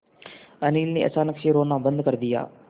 अनिल ने अचानक से रोना बंद कर दिया